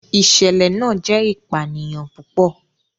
ìsẹ̀lẹ̀ náà jẹ́ ìpànìyàn púpọ̀.